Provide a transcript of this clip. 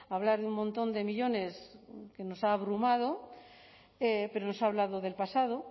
hablar de un montón de millónes que nos ha abrumado pero nos ha hablado del pasado